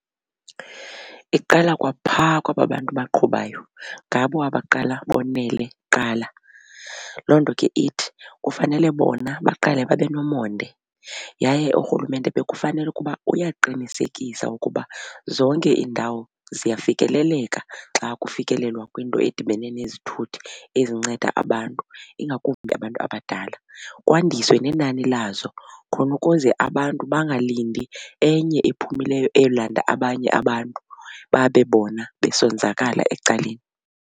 Iqala kwapha kwaba bantu baqhubayo ngabo abaqala bonele kuqala. Loo nto ke ithi kufanele bona baqale babe nomonde yaye uRhulumente bekufanele ukuba uyaqinisekisa ukuba zonke iindawo ziyafikeleleka xa kufikelelwa kwinto edibene nezithuthi ezinceda abantu ingakumbi abantu abadala. Kwandiswe nenani lazo khona ukuze abantu bangalindi enye ephumileyo eyolanda abanye abantu babe bona besonzakala ecaleni.